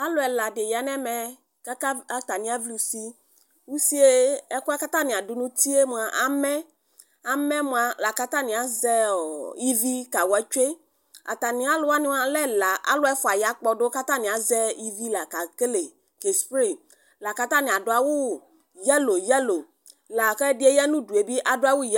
alʋɛ ɛla di yanʋ ɛmɛ kʋ atani avli ʋsi ʋsiɛ ɛkʋɛ kʋ atani adʋ nʋ ʋtiɛ mʋa amɛ, amɛ mʋa lakʋ atani azɛɔ ivi kawa twɛ, atani alʋ wani lɛ ɛla, alʋ ɛƒʋa ya kpɔdʋ kʋ atani azɛ ivi la kɛkɛlɛ kɛ spray kʋ atani adʋ awʋ yellow yellow lakʋ ɛdiɛ yanʋʋdʋɛ bi adʋawʋ yellow